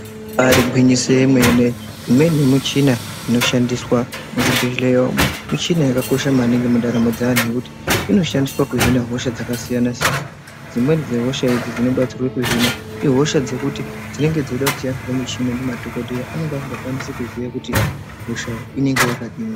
Ibari gwinyiso remene imweni yemichina inoshandiswa muzvibhedhlera umu michina yakakosha maningi mundaramo dzevantu ngekuti inoshandiswa kuhina hosha dzakasiyana siyana dzimweni dzehosha dzinobatsirwa kuhina ihosha dzekuti dzinenge dzichidawo kushandisirwa michini nemadhokoteya kuti akwanise kuziya kuti hosha inenge yakadini.